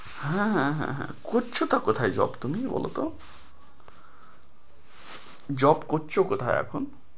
হ্যাঁ হ্যাঁ হ্যাঁ হ্যাঁ করছো টা কোথায় job তুমি বলোতো job করছো কোথায় এখন?